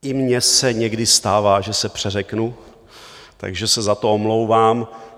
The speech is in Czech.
I mně se někdy stává, že se přeřeknu, takže se za to omlouvám.